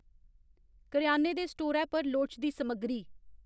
करेआने दे स्टोरै पर लोड़चदी समग्गरी